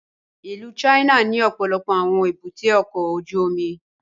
Ìlú China ni ọpọlọpọ awọn èbúté ọkọ ojú omi